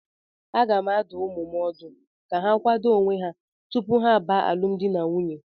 Aga m adụ ụmụ m ọdụ ka ha kwado onwe ha tupu ha baa alụm di na nwunye